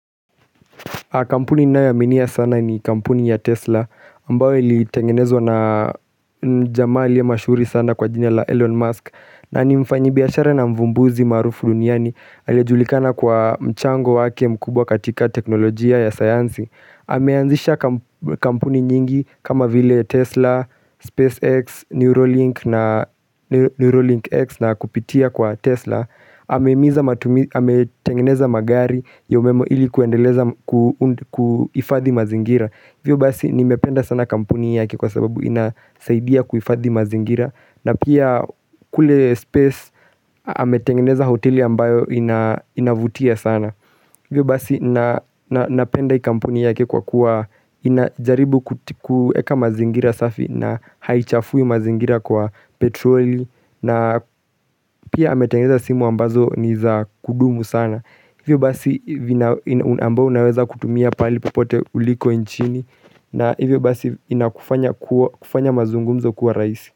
Kampuni nayoaminia sana ni kampuni ya Tesla ambao ilitengenezwa na jamaa aliye mashuhuri sana kwa jina la Elon Musk na ni mfanyibiashara na mvumbuzi maarufu duniani aliyejulikana kwa mchango wake mkubwa katika teknolojia ya sayansi. Ameanzisha kampuni nyingi kama vile Tesla, SpaceX, Neurolink na kupitia kwa Tesla ametengeneza magari ya umeme ili kuifadhi mazingira hivyo basi nimependa sana kampuni yake kwa sababu inasaidia kuifadhi mazingira na pia kule space ametengeneza hoteli ambayo inavutia sana Hivyo basi na napenda hii kampuni yake kwa kuwa inajaribu kuti kueka mazingira safi na haichafui mazingira kwa petroli na pia ametengeneza simu ambazo ni za kudumu sana. Hivyo basi ambao unaweza kutumia pali popote uliko nchini na hivyo basi inakufanya mazungumzo kuwa raisi.